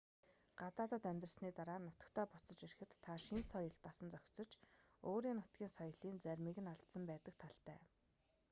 гадаадад амьдарсны дараа нутагтаа буцаж ирэхэд та шинэ соёлд дасан зохицож өөрийн нутгийн соёлын заримыг нь алдсан байдаг талтай